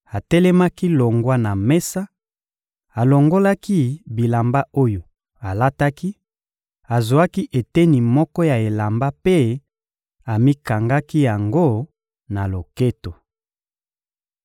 atelemaki longwa na mesa, alongolaki bilamba oyo alataki, azwaki eteni moko ya elamba mpe amikangaki yango na loketo.